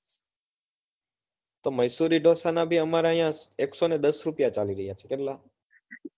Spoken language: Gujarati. તો મહેસુરી ઢોસા ના બી અમારે અહિયાં એકસો ને દસ રૂપિયા ચાલી રહ્યા છે કેટલા